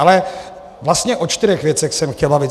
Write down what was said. Ale - vlastně o čtyřech věcech jsem chtěl mluvit.